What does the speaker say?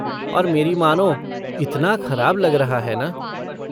और मेरी मानो, इतना ख़राब लग रहा है ना।